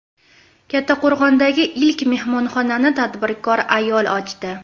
Kattaqo‘rg‘ondagi ilk mehmonxonani tadbirkor ayol ochdi.